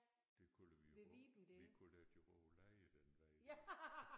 Det kalder vi jo bare vi kalder det jo bare lejet den vej der